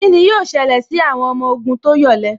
Kíni yóò ṣẹlẹ̀ sí àwọn ọmọ ogun tó yọ̀lẹ